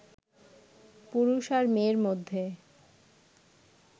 পুরুষ আর মেয়ের মধ্যে